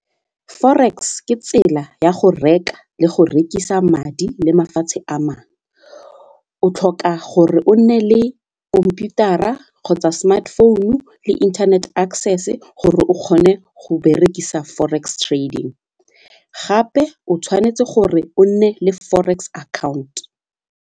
Forex ke tsela ya go reka le go rekisa madi le mafatshe a mangwe, o tlhoka gore o nne le khomputara kgotsa smart phone-u le internet access gore o kgone go berekisa forex trading gape o tshwanetse gore o nne le forex account.